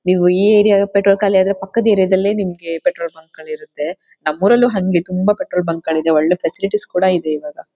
ನೀವು ಈ area petrol ಖಾಲಿಯಾದ್ರೆ ಪಕ್ಕದ್ ಏರಿಯಾದಲ್ ಪೆಟ್ರೋಲ್ ಬಂಕ್ ಗಳಿರುತ್ತೆ ನಮ್ಮೂರಲ್ಲೂ ಹಂಗೆ ತುಂಬಾ ಪೆಟ್ರೋಲ್ ಬಂಕ್ ಗಳಿದೆಒಳ್ಳೆ ಫ್ಯಾಸಿಲಿಟೀಸ್ ಕೂಡ ಇದೆ ಇವಾಗ.